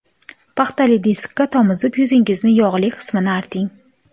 Paxtali diskka tomizib, yuzingizni yog‘li qismini arting.